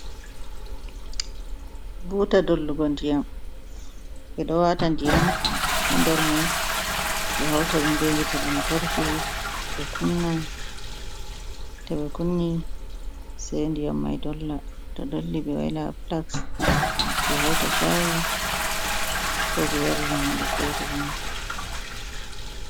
Buta dollugo ndiyam, ɓe ɗo wata ndiyam ha ndar mai ɓe hauta ɗumɓe hiite lantarki, to ɓe kunni se ndiyam mai dolla ta dolli ɓe waila flas, ɓe hauta chayi ko ɓe yarira hunde fere be mai.